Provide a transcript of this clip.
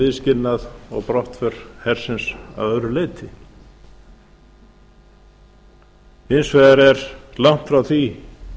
viðskilnað og brottför hersins að öðru leyti hins vegar er langt frá því